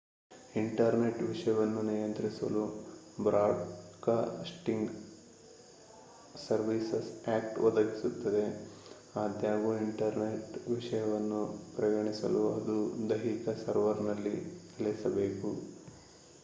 internet ವಿಷಯವನ್ನು ನಿಯಂತ್ರಿಸಲು broadcasting services act ಒದಗಿಸುತ್ತದೆ ಆದಾಗ್ಯೂ ಇಂಟರ್ನೆಟ್ ವಿಷಯವೆಂದು ಪರಿಗಣಿಸಲು ಅದು ದೈಹಿಕವಾಗಿ ಸರ್ವರ್‌ನಲ್ಲಿ ನೆಲೆಸಬೇಕು